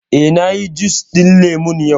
Eh, na yi jus ɗin lemu yau